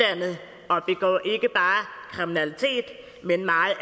bare kriminalitet men meget